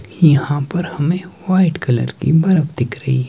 यहां पर हमें व्हाइट कलर की बरफ दिख रही--